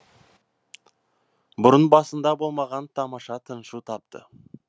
бұрын басында болмаған тамаша тыншу тапты